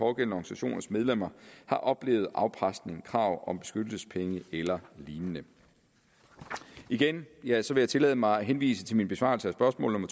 organisationers medlemmer har oplevet afpresning krav om beskyttelsespenge eller lignende igen vil jeg tillade tillade mig at henvise til min besvarelse af spørgsmål